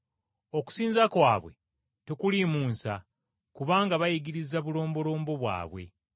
Okusinza kwabwe tekuliimu nsa; kubanga bayigiriza bulombolombo bwabwe.’